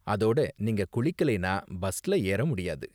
அதோட நீங்க குளிக்கலைனா பஸ்ல ஏற முடியாது.